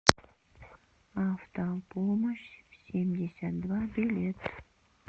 автопомощь семьдесят два билет